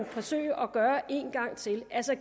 forsøge at gøre det en gang til altså at